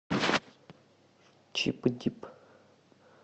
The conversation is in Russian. чип и дип